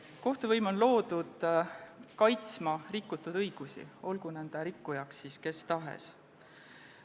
Kohtuvõim on loodud kaitsma rikutud õigusi, olgu nende rikkuja kes tahes.